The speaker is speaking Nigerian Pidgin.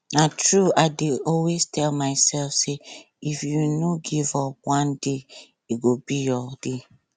na true i dey always tell myself say if you no give up one day go be your day